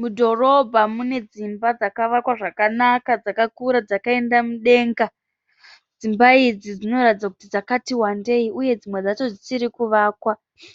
Mudhorobha munedzimba dzavakwa zvakanaka dzakakura dzakaenda mudenga. Dzimba idzi dziratidza kuti dzakati wandei uye dzimwe dzichiri kuvakwa.